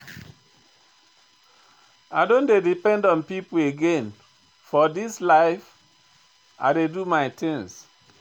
I no dey depend on pipo again for dis life, I dey do my tins.